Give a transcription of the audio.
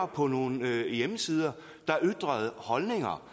på nogle hjemmesider der ytrede holdninger